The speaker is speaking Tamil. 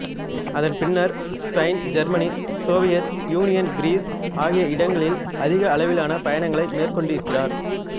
அதன் பின்னர் Spain Germany Soviet Union Greece ஆகிய இடங்களில் அதிக அளவிலான பயணங்களை மேற்கொண்டிருக்கிறார்